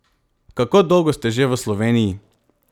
Kako dolgo ste že v Sloveniji?